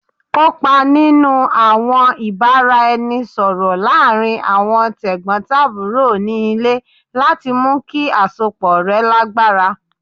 Kopa ninu awọn ibaraẹnisọrọ laarin awọn tegbotaburo ni ile lati mu ki asopọ rẹ lagbara